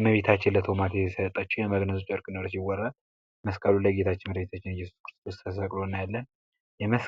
እመቤታችን ለቶማስ የስጠቸው የመግነዝ ጨርቅ እንደሆን ይወራል መስቀሉ ላይ ጌታችን መዳህኒታችን ተስቅሎ እያለን። መስቀሉ